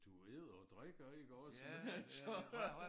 Du æder og drikker ikke også men altså